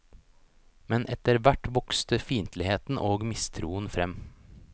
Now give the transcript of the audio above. Men etter hvert vokste fiendtligheten og mistroen frem.